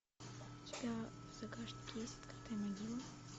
у тебя в загашнике есть открытая могила